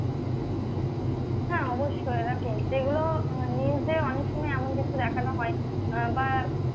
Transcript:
হ্যাঁ অবশ্যই দেখো যেগুলো news এ অনেক সময় এমন কিছু দেখানো হয় আহ বা